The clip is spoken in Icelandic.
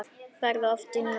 Ferðu oft í nudd?